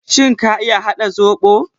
Shin ka iya haɗa zobo?